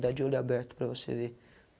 Dá de olho aberto para você ver.